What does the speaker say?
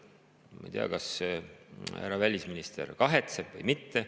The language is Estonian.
Ma ei tea, kas härra välisminister kahetseb või mitte.